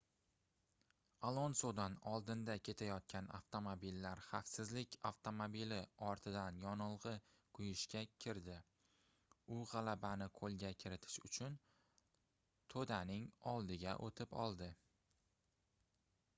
alonsodan oldinda ketayotgan avtomobillar xavfsizlik avtomobili ortidan yonilgʻi quyishga kirdi u gʻalabani qoʻlga kiritish uchun toʻdaning oldiga oʻtib oldi